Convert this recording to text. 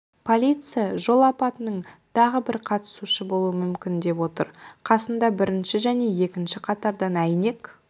полиция жол апатының тағы бір қатысушысы болуы мүмкін деп отыр қасында бірінші және екінші қатардан әйнек